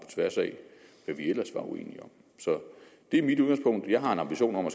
tværs af hvad vi ellers var uenige om så det er mit udgangspunkt jeg har en ambition om at